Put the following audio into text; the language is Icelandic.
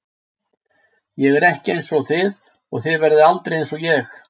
Ég er ekki einsog þið og þið verðið aldrei einsog ég.